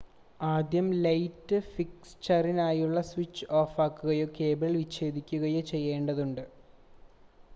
ആദ്യം ലൈറ്റ് ഫിക്‌ചറിനായുള്ള സ്വിച്ച് ഓഫാക്കുകയോ കേബിൾ വിച്ഛേദിക്കുകയോ ചെയ്യേണ്ടതുണ്ട്